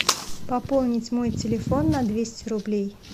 пополнить мой телефон на двести рублей